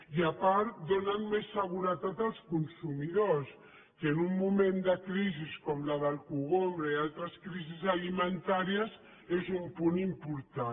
i a part donen més seguretat als consumidors que en un moment de crisi com la del cogombre i altres crisis alimentàries és un punt important